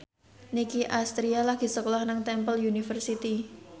Nicky Astria lagi sekolah nang Temple University